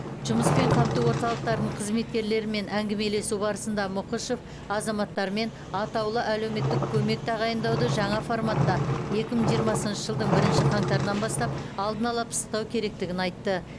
жұмыспен қамту орталықтарының қызметкерлерімен әңгімелесу барысында мұқышев азаматтармен атаулы әлеуметтік көмек тағайындауды жаңа форматта екі мың жиырмасыншы жылдың бірінші қаңтарынан бастап алдын ала пысықтау керектігін айтты